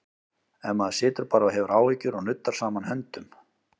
Ef maður situr bara og hefur áhyggjur og nuddar saman höndum?